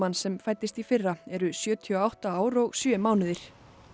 sem fæddist í fyrra eru sjötíu og átta ár og sjö mánuðir